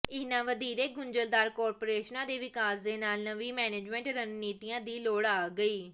ਇਹਨਾਂ ਵਧੇਰੇ ਗੁੰਝਲਦਾਰ ਕਾਰਪੋਰੇਸ਼ਨਾਂ ਦੇ ਵਿਕਾਸ ਦੇ ਨਾਲ ਨਵੀਂ ਮੈਨੇਜਮੈਂਟ ਰਣਨੀਤੀਆਂ ਦੀ ਲੋੜ ਆ ਗਈ